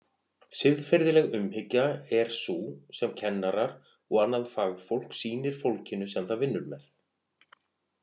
Siðferðileg umhyggja er sú sem kennarar og annað fagfólk sýnir fólkinu sem það vinnur með.